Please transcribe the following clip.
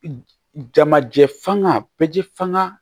Jamajɛ fanga bɛɛ ji fanga